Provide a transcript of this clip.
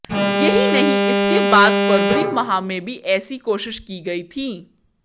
यही नहीं इसके बाद फरवरी माह में भी ऐसी कोशिश की गई थी